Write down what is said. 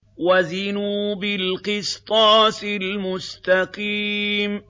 وَزِنُوا بِالْقِسْطَاسِ الْمُسْتَقِيمِ